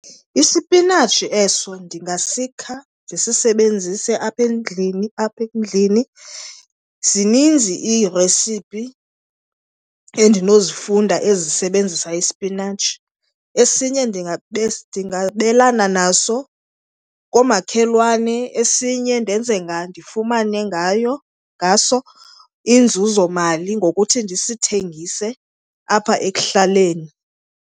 Isipinatshi eso ndingasikha ndisisebenzise apha endlini, apha endlini. Zininzi iiresipi endinozifunda ezisebenzisa isipinatshi. Esinye ndingabelana naso koomakhelwane. Esinye ndenze , ndifumane ngaso inzuzomali ngokuthi ndisithengise apha ekuhlaleni.